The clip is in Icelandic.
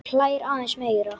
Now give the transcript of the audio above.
Hún hlær aðeins meira.